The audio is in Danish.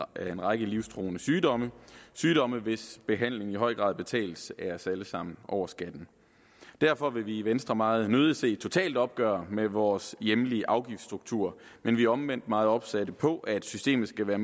af en række livstruende sygdomme sygdomme hvis behandling i høj grad betales af os alle sammen over skatten derfor vil vi i venstre meget nødig se et totalt opgør med vores hjemlige afgiftsstruktur men vi er omvendt meget opsatte på at systemet skal være